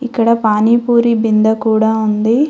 ఇక్కడ పానీ పూరీ బిందె కూడా ఉంది.